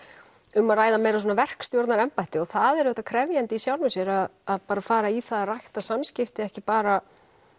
um að ræða meira verkstjóra embætti og það er auðvitað krefjandi í sjálfu sér að bara fara í það að rækta samskipti og ekki bara